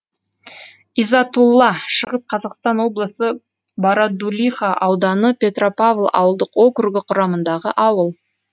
изатулла шығыс қазақстан облысы бородулиха ауданы петропавл ауылдық округі құрамындағы ауыл